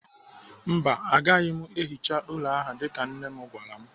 Mba, agaghị m ehicha ụlọ ahụ dịka nne m gwara m.